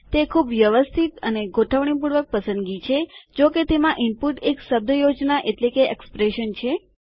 તે ખુબ વ્યવસ્થિત અને ગોઠવણીપૂર્વક પસંદગી છે જો કે તેમાં ઇનપુટ એક શબ્દયોજના છે